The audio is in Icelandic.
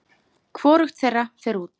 Hvorugt þeirra fer út.